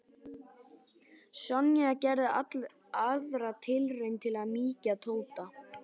Sonja gerði aðra tilraun til að mýkja Tóta.